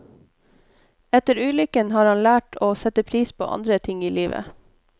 Etter ulykken har han lært å sette pris på andre ting i livet.